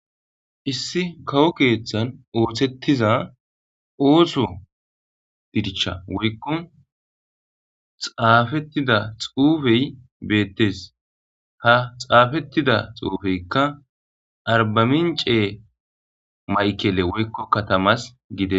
issi kawo keeththan ooththettiza ooso dirshsha woykko xaafettidda xuufey betees ha xaafettidda xuufeykka arbamince maykele woykko katamas gidees